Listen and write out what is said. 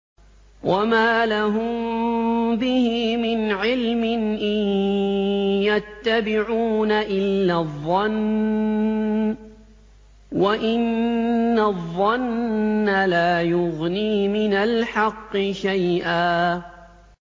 وَمَا لَهُم بِهِ مِنْ عِلْمٍ ۖ إِن يَتَّبِعُونَ إِلَّا الظَّنَّ ۖ وَإِنَّ الظَّنَّ لَا يُغْنِي مِنَ الْحَقِّ شَيْئًا